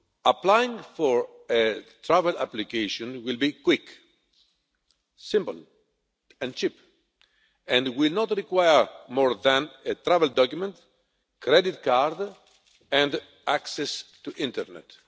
Applying for a travel application will be quick, simple and cheap and will not require more than a travel document, credit card and access to the internet.